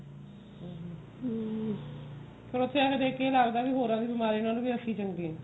ਹਮ ਫੇਰ ਉੱਥੇ ਦੇਖ ਕੇ ਆਹ ਲਗਦਾ ਵੀ ਹੋਰਾ ਦੀ ਬਿਮਾਰੀ ਨਾਲੋਂ ਵੀ ਅਸੀਂ ਚੰਗੇ ਆਂ